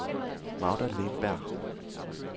Magda Lindberg